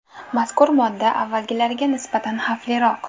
Mazkur modda avvalgilariga nisbatan xavfliroq.